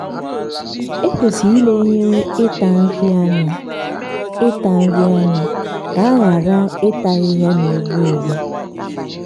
ekwesịrị ilenyere ịta nri anya ịta nri anya ka a ghara ata ahịhịa na-egbu egbu.